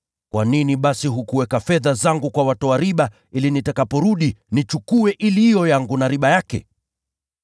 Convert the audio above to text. kwa nini basi hukuweka fedha zangu kwa watoa riba, ili nitakaporudi nichukue iliyo yangu na riba yake?’